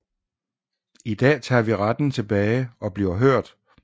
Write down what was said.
I dag tager vi retten tilbage og bliver hørt